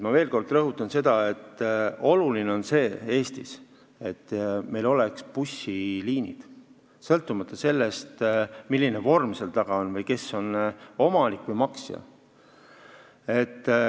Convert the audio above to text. Ma veel kord rõhutan: oluline on, et meil oleks bussiliinid, sõltumata sellest, milline vorm seal taga on või kes on omanik või maksja.